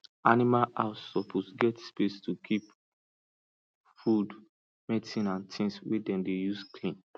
animal house suppose get space to keep food medicine and things wey dem dey use clean